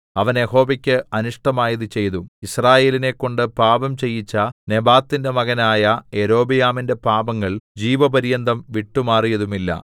അവൻ യഹോവയ്ക്ക് അനിഷ്ടമായത് ചെയ്തു യിസ്രായേലിനെക്കൊണ്ട് പാപം ചെയ്യിച്ച നെബാത്തിന്റെ മകനായ യൊരോബെയാമിന്റെ പാപങ്ങൾ ജീവപര്യന്തം വിട്ടുമാറിയതുമില്ല